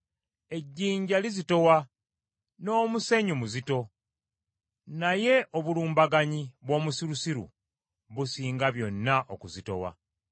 Ejjinja lizitowa, n’omusenyu muzito, naye obulumbaganyi bw’omusirusiru businga byonna okuzitowa.